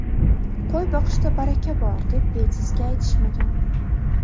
Qo‘y boqishda baraka bor, deb bejizga aytishmagan.